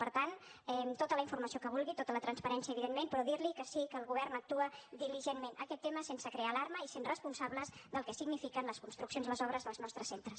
per tant tota la informació que vulgui tota la transparència evidentment però dir li que sí que el govern actua diligentment en aquest tema sense crear alarma i sent responsables del que signifiquen les construccions i les obres dels nostres centres